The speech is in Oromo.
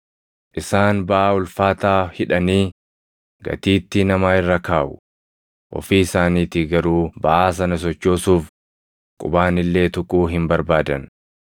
Isaan baʼaa ulfaataa hidhanii gatiittii namaa irra kaaʼu; ofii isaaniitii garuu baʼaa sana sochoosuuf qubaan illee tuquu hin barbaadan.